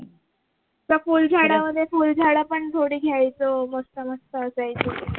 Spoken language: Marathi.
त्या फुल झाडामध्ये फुल झाड पण थोडे घ्यायचो मस्त मस्त असायचे